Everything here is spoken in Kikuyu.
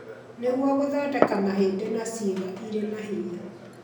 nĩguo gũthondeka mahĩndĩ na ciĩga irĩ na hinya